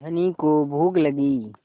धनी को भूख लगी